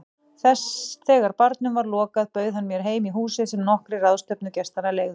Þegar barnum var lokað bauð hann mér heim í húsið sem nokkrir ráðstefnugestanna leigðu.